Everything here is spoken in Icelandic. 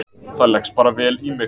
Það leggst bara vel í mig.